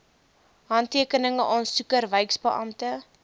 handtekeninge aansoeker wyksbeampte